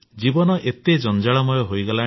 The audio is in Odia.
ଜୀବନ ଏବେ ଜଞ୍ଜାଳମୟ ହୋଇଗଲାଣି